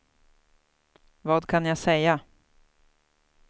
vad kan jag säga